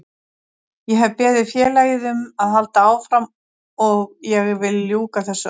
Ég hef beðið félagið um að halda áfram og ég vil ljúka þessu af.